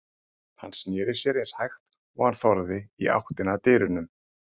Hann sneri sér eins hægt og hann þorði í áttina að dyrunum.